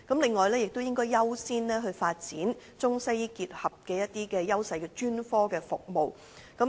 此外，亦應優先發展結合中西醫優勢的專科服務。